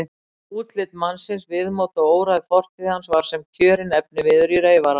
Útlit mannsins, viðmót og óræð fortíð var sem kjörinn efniviður í reyfara.